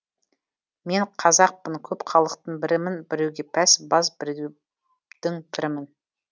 мен қазақпын көп халықтың бірімін біреуге пәс баз бірдеу дің пірімін